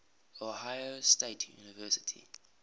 ohio state university